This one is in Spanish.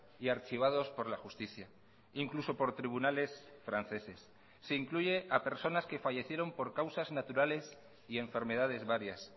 y archivados por la justicia incluso por tribunales franceses se incluye a personas que fallecieron por causas naturales y enfermedades varias